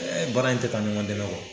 E baara in tɛ taa ɲɔgɔn dɛmɛ kɔ.